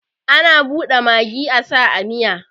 Ana bude magi asa a miya